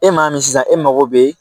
E m'a min sisan e mago bɛ